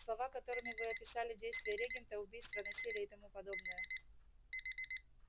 слова которыми вы описали действия регента убийства насилие и тому подобное